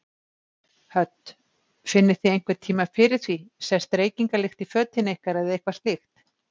Hödd: Finnið þið einhver tímann fyrir því, sest reykingalykt í fötin ykkar eða eitthvað slíkt?